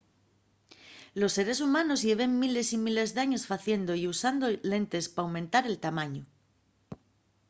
los seres humanos lleven miles y miles d’años faciendo y usando lentes p'aumentar el tamañu